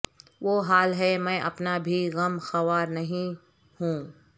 وہ حال ہے میں اپنا بھی غم خوار نہیں ہوں